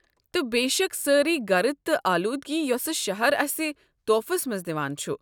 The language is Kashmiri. تہٕ بےشک سٲرٕے گرٕد تہٕ اولوٗدگی یۄسہٕ شہر اسہِ طوفس منٛز دِوان چھُ۔